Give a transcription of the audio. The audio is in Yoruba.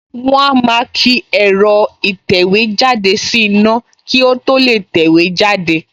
Wọ́n á máa ki ẹ̀rọ ìtẹ̀wéjáde sí iná kí ó tó lè tẹ̀wé jáde